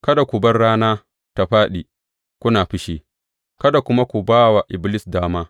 Kada ku bar rana ta fāɗi kuna fushi, kada kuma ku ba wa Iblis dama.